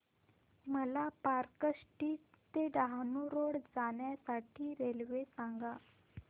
मला park street ते Dahanu road जाण्या साठी रेल्वे सांगा